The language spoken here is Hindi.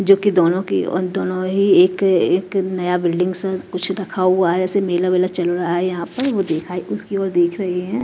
जोकि दोनों के उन दोनों ही एक एक नया बिल्डिंग सा कुछ रखा हुआ है ऐसे मेला वेला चल रहा है यहां पे वो देखा उसकी ओर देख रहे हैं।